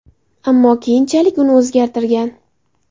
Ammo keyinchalik uni o‘zgartirgan.